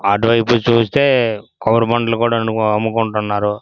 అటువైపు నుంచి చూస్తే కొబారి బోండాలు కూడాను అముకుంటున్నారు.